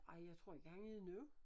Ej jeg tror ikke han er det nu